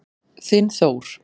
Þinn Þór.